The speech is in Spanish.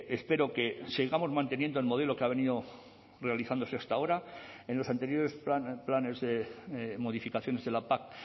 espero que sigamos manteniendo el modelo que ha venido realizándose hasta ahora en los anteriores planes de modificaciones de la pac